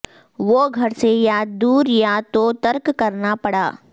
وہ گھر سے یا دور یا تو ترک کرنا پڑا